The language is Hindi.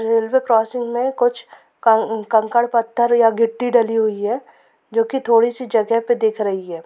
रेलवे क्रॉसिंग में कुछ कंकर पत्थर या गिटि डली हुई है जोकि थोङि सी जगह पे दिख रही है।